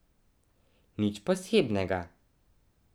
Nič posebnega.